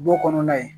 Du kɔnɔna ye